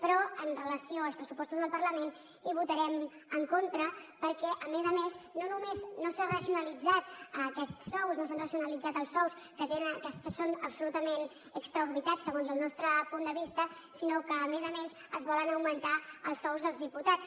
però amb relació als pressupostos del parlament hi votarem en contra perquè a més a més no només no s’han racionalitzat aquests sous no s’han racionalitzat els sous que tenen que són absolutament desorbitats segons el nostre punt de vista sinó que a més a més es volen augmentar els sous dels diputats